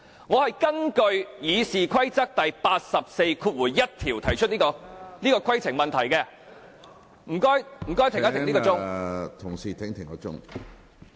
我根據《議事規則》第841條，提出這項規程問題，請暫停計時。